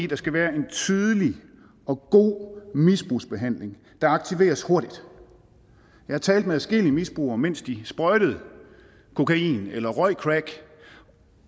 der skal være en tydelig og god misbrugsbehandling der aktiveres hurtigt jeg talte med adskillige misbrugere mens de sprøjtede kokain eller røg crack